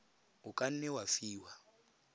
o ka nne wa fiwa